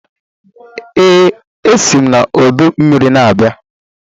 Ee, esi m n'ọdọ mmiri na-abịa